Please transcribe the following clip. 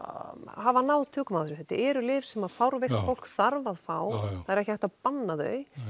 hafa náð tökum á þessu þetta eru lyf sem fárveikt fólk þarf að fá það er ekki hægt að banna þau